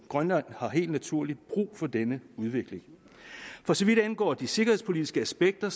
grønland har helt naturligt brug for denne udvikling for så vidt angår de sikkerhedspolitiske aspekter